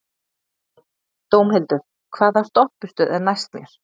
Dómhildur, hvaða stoppistöð er næst mér?